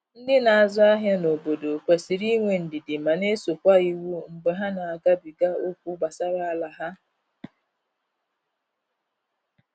Ndi n'azụ ahịa na obodo kwesịrị inwe ndidi ma na eso kwa iwu mgbe ha na agabiga okwu gbasara ala ha.